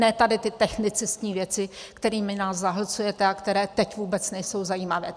Ne tady ty technicistní věci, kterými nás zahlcujete a které teď vůbec nejsou zajímavé.